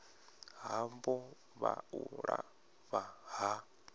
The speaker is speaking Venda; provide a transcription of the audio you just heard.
havho kha u lafha ha